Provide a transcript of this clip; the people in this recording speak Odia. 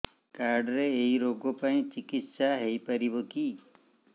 କାର୍ଡ ରେ ଏଇ ରୋଗ ପାଇଁ ଚିକିତ୍ସା ହେଇପାରିବ କି